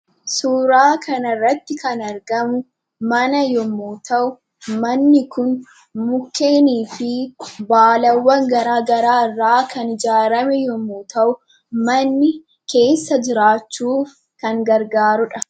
Suuraa kanarratti kan argamu mana yommuu ta'u, manni kun mukkeenii fi baalawwan garaa garaa irraa kan ijaarame yommuu ta'u ,manni keessa jiraachuuf kan gargaarudha.